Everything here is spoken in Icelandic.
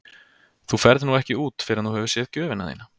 Þú ferð nú ekki út fyrr en þú hefur séð gjöfina þína.